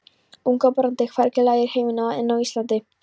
Ungbarnadauði hvergi lægri í heiminum en á Íslandi.